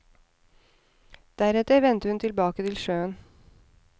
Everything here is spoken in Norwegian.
Deretter vendte hun tilbake til sjøen.